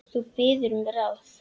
Þú biður um ráð.